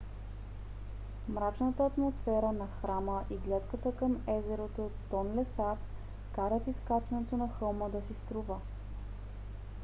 мрачната атмосфера на храма и гледката към езерото тонле сап карат изкачването на хълма да си струва